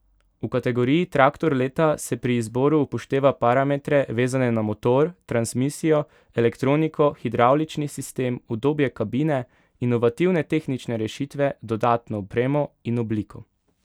V kategoriji traktor leta se pri izboru upošteva parametre, vezane na motor, transmisijo, elektroniko, hidravlični sistem, udobje kabine, inovativne tehnične rešitve, dodatno opremo in obliko.